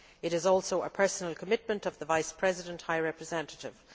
It is also a personal commitment of the Vice President High Representative.